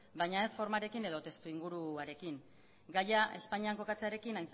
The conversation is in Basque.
baina ez formarekin edo testuinguruarekin gaia espainiak kokatzearekin